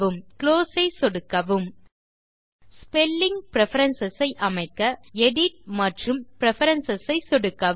exit ஐ சொடுக்கி வெளியேறுக ஸ்பெல்லிங் பிரெஃபரன்ஸ் ஐ அமைக்க மெயின் மேனு வில் எடிட் மற்றும் பிரெஃபரன்ஸ் ஐ சொடுக்கவும்